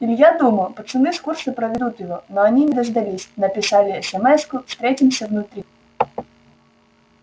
илья думал пацаны с курса проведут его но они не дождались написали эсэмэску встретимся внутри